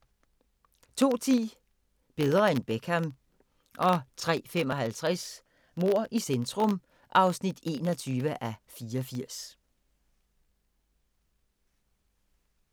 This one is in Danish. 02:10: Bedre end Beckham 03:55: Mord i centrum (21:84)